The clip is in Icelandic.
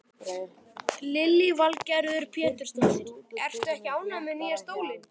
Lillý Valgerður Pétursdóttir: Ertu ekki ánægð með nýja stólinn?